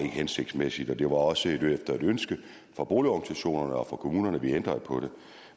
hensigtsmæssigt og det var også et ønske fra boligorganisationerne og fra kommunerne at vi ændrede på det